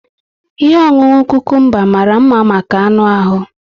Ihe ọṅụṅụ cucumber mara mma maka anụ ahu